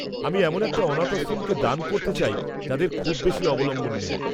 -আমি এমন একটা অনাথ আশ্রমকে দান করতে চাই যাদের খুব বেশি অবলম্বন নেই।